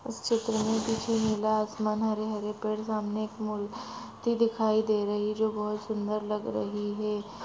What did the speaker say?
इस चित्र मे पिछे नीला आसमान हरे हरे पेड सामने एक मुर्ती दिखाई दे रही जो बहोत सुंदर लग रही है।